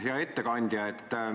Hea ettekandja!